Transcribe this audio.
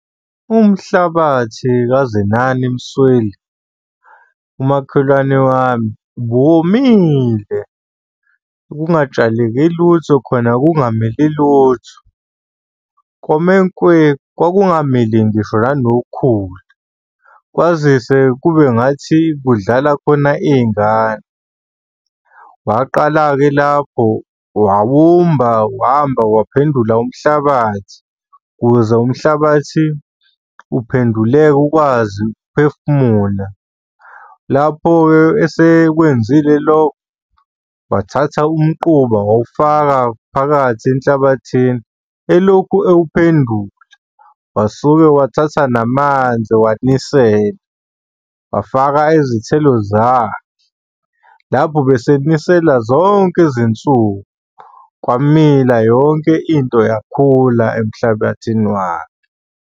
Umhlabathi kaZenani Msweli, umakhelwane wami ubuwomile kungatshaleki lutho khona kungamili lutho kome nkwe. Kwakungamili ngisho nanokhula kwazise kube ngathi kudlala khona iy'ngane. Waqala-ke lapho wawumba, wamba waphendula umhlabathi, ukuze umhlabathi uphenduleke ukwazi ukuphefumula. Lapho-ke esekwenzile lokho, wathatha umquba wawufaka phakathi enhlabathini, elokhu ewuphendula. Wasuke wathatha namanzi, wanisela, wafaka izithelo zakhe, lapho ubesenisela zonke izinsuku. Kwamila yonke into yakhula emhlabathini wakhe.